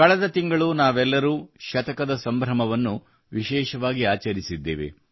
ಕಳೆದ ತಿಂಗಳು ನಾವೆಲ್ಲರೂ ಶತಕದ ಸಂಭ್ರಮವನ್ನು ವಿಶೇಷವಾಗಿ ಆಚರಿಸಿದ್ದೇವೆ